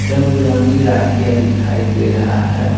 रंग-बिरंगी राखिया दिखाई दे रहा है।